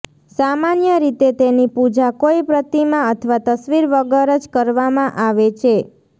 સામાન્ય રીતે તેની પૂજા કોઈ પ્રતિમા અથવા તસ્વીર વગર જ કરવામાં આવે છે